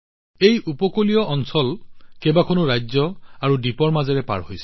এই উপকূলীয় সীমান্ত কেইবাখনো ৰাজ্য আৰু দ্বীপৰ মাজেৰে পাৰ হৈ গৈছে